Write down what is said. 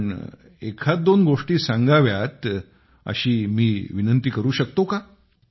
आपण 12 गोष्टी सांगाव्यात अशी मी विनंती करू शकतो का